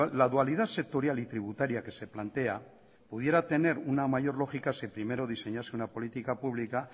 la dualidad sectorial y tributaria que se plantea pudiera tener una mayor lógica si primero diseñase una política pública